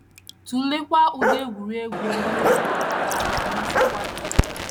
Tụleekwa ụdị egwuregwu ndị o yiri ka hà na - amasị nwa gị.